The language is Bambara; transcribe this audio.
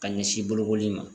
Ka ɲɛsin bolokoli ma.